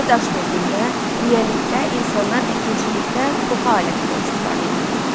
Yeni daş dövründə neolitdə insanlar əkinçilikdə toxu alətindən istifadə eləyirdilər.